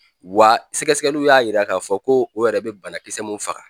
Wa sɛgɛsɛgɛliw y'a yira k'a fɔ ko o yɛrɛ bɛ banakisɛ mun faga